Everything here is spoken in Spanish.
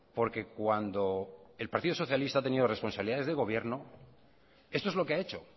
porque cuando el partido socialista ha tenido responsabilidades de gobierno esto es lo que ha hecho